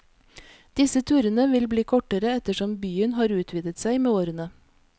Disse turene vil bli kortere ettersom byen har utvidet seg med årene.